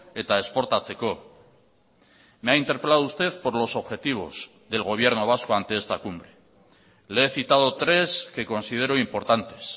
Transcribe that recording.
eta esportatzeko me ha interpelado usted por los objetivos del gobierno vasco ante esta cumbre le he citado tres que considero importantes